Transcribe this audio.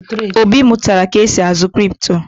Obi mụtara ka esi azụ kripto